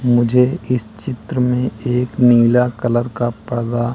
मुझे इस चित्र में एक नीला कलर का पर्दा--